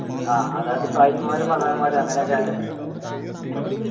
ആഹ് അതായത് സായിപ്പന്മാരും മദാമ്മമാരും അങ്ങനേയൊക്കെ